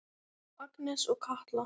Agnes og Katla.